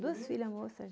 Duas filhas moças.